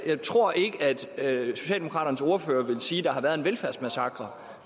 jeg tror ikke at socialdemokraternes ordfører vil sige at der har været en velfærdsmassakre